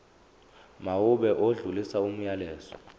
mawube odlulisa umyalezo